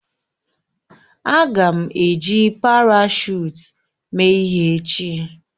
Aga m eji parashụt mee ihe echi